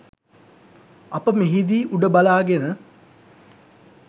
අප මෙහිදී උඩ බලාගෙන